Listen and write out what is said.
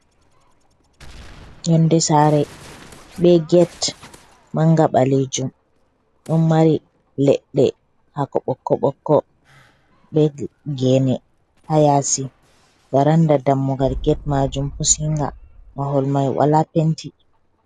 Yonde sare be get manga ɓaleejum. Ɗo mari leɗde hako ɓokko-ɓokko, be gene ha yasi. Baranda dammugal get majum pusinga, mahol mai wala penti.